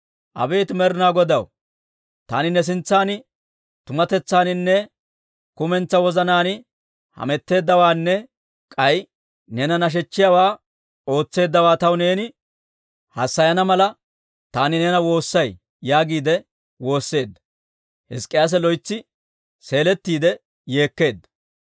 «Abeet Med'ina Godaw, taani ne sintsan tumatetsaaninne kumentsaa wozanaan hametteeddawaanne k'ay neena nashechchiyaawaa ootseeddawaa taw neeni hassayana mala, taani neena woossay» yaagiide woosseedda. Hizk'k'iyaase loytsi seeletiide yeekkeedda.